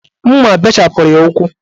Mma bechapụrụ ya ukwu